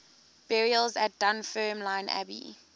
burials at dunfermline abbey